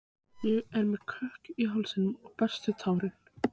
Ég er með kökk í hálsi og berst við tárin.